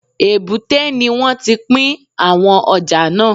Èbúté ni wọ́n ti pín àwọn ọjà náà